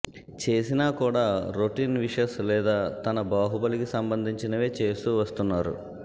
చేసినా కూడా రొటీన్ విసెష్ లేదా తన బాహుబలికి సంబంధించినవే చేస్తూ వస్తున్నారు